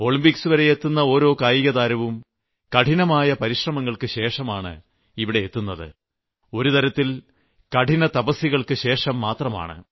ഒളിംമ്പിക്സ്വരെ എത്തുന്ന ഓരോ കായികതാരവും കഠിനമായ പരിശ്രമങ്ങൾക്കുശേഷമാണ് ഇവിടെ എത്തുന്നത് ഒരുതരത്തിൽ കഠിനതപസ്യകൾക്കു ശേഷംമാത്രമാണ്